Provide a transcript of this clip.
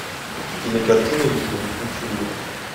кинокартина викинг включи мне